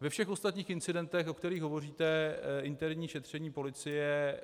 Ve všech ostatních incidentech, o kterých hovoříte, interní šetření policie